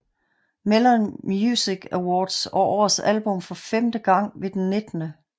Melon Music Awards og årets album for femte gange ved den 19